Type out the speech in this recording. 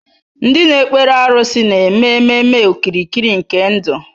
Ndị na-ekpere arụsị na-eme ememe okirikiri nke ndụ.